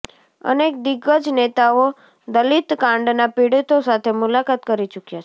અનેક દિગ્ગજ નેતાઓ દલીતકાંડના પીડિતો સાથે મુલાકાત કરી ચૂકયા છે